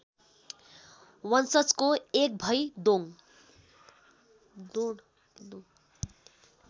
वंशजको एकभइ दोङ